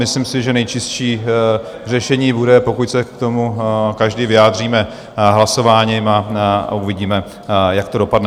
Myslím si, že nejčistší řešení bude, pokud se k tomu každý vyjádříme hlasováním, a uvidíme, jak to dopadne.